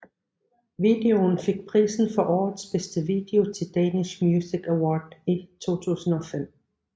Videoen fik prisen for årets bedste video Til Danish Music Award i 2005